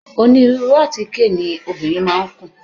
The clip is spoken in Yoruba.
Onírúurú àtíkè ni obìnrin máa ń kùn.